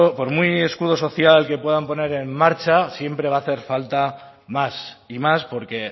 por muy escudo social que puedan poner en marcha siempre va a hacer falta más y más porque